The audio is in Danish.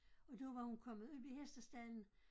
Og der var hun kommet op i hestestalden